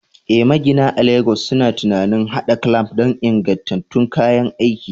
Eh, magina a Legas suna tunanin haɗa clamp don ingantattun kayan aiki.